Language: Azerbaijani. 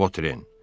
Votren.